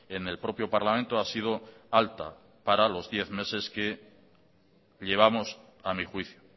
en el propio parlamento ha sido alta para los diez meses que llevamos a mí juicio